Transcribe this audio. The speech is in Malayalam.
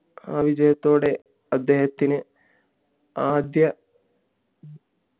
ആ വിജയത്തോടെ അദ്ദേഹത്തിന് ആദ്യ